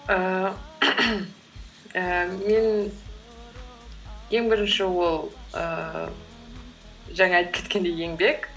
ііі ііі мен ең бірінші ол ііі жаңа айтып кеткендей еңбек